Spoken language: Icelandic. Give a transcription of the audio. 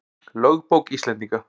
Lögbók Íslendinga.